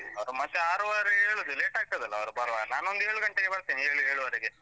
ಅದು ಮತ್ತೆ ಆರೂವರೆಗೆ ಹೇಳುದು, ಆಗ್ತದಲ್ಲ, ಅವ್ರು ಬರುವಾಗ. ನಾನೊಂದು ಏಳು ಗಂಟೆಗೆ ಬರ್ತೇನೆ, ಏಳ್~ ಏಳೂವರೆಗೆ.